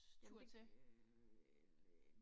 Jamen øh